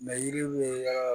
yiri bɛ